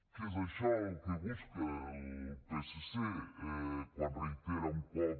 que és això el que busca el psc quan reitera un cop